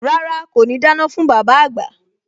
Rárá, kò ní dáná fún bàbá àgbà